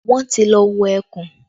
Wọ́n ti lọ wo ẹkùn